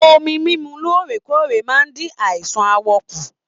Omí mímú lóòrèkóòrè máa n dín àìsàn aawọ kù.